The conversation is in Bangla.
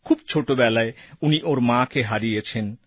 খুব ছোটবেলায় উনি ওঁর মাকে হারিয়েছেন